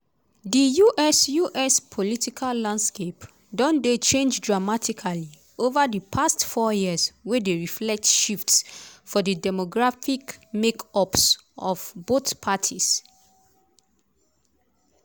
di us us political landscape don dey change dramatically ova di past four years wey dey reflect shifts for di demographic make-ups of both parties.